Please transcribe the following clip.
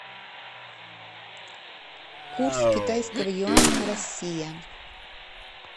курс китайского юаня россия